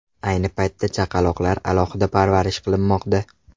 Ayni paytda chaqaloqlar alohida parvarish qilinmoqda.